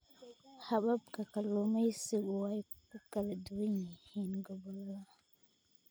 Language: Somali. Hababka kalluumaysigu way ku kala duwan yihiin gobollada.